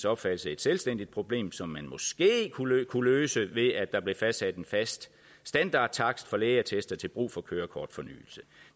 opfattelse et selvstændigt problem som man måske kunne løse ved at der blev fastsat en fast standardtakst for lægeattester til brug for kørekortfornyelse